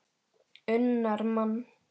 unnar mann.